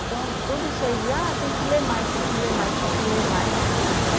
Então, tudo isso aí de, ah, tem que ler mais, tem que ler mais, tem que ler mais.